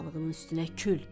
Analığının üstünə kül.